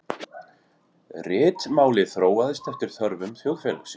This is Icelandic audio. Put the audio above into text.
Ritmálið þróaðist eftir þörfum þjóðfélagsins.